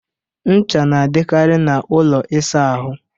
Ncha na adịkari n'ụlọ ịsa ahụ